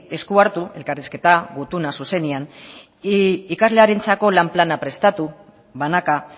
esku hartu elkarrizketa gutuna zuzenean ikaslearentzako lan plana prestatu banaka